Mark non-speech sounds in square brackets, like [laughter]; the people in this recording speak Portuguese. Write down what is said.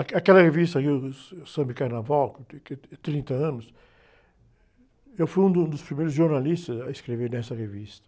[unintelligible] aquela revista aí, uh, o Samba e Carnaval, [unintelligible] tem trinta anos, eu fui um do, dos primeiros jornalistas a escrever nessa revista.